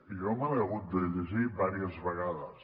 jo me l’he hagut de llegir diverses vegades